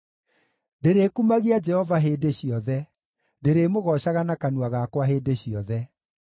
Ndĩrĩkumagia Jehova hĩndĩ ciothe; ndĩrĩmũgoocaga na kanua gakwa hĩndĩ ciothe.